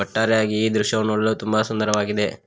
ಒಟ್ಟಾರೆಯಾಗಿ ಈ ದೃಶ್ಯವು ನೋಡಲು ತುಂಬ ಸುಂದರವಾಗಿದೆ.